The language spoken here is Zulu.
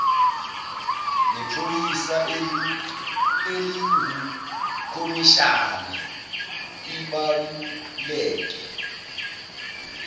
nephoyisa elingukhomishana ibaluleke